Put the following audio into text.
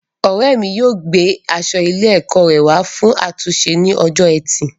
Ọrẹ mi yóò gbé aṣọ ilé ẹkọ rẹ wa fún àtúnṣe ní ọjọ́ ẹtì